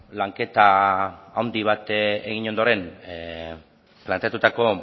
lanketa handi bat egin ondoren planteatutako